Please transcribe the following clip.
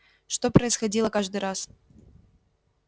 что происходило каждый раз